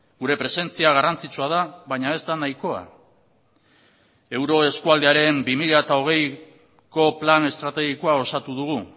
gure presentzia garrantzitsua da baina ez da nahikoa euroeskualdearen bi mila hogeiko plan estrategikoa osatu dugu